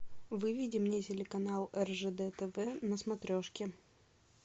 выведи мне телеканал ржд тв на смотрешке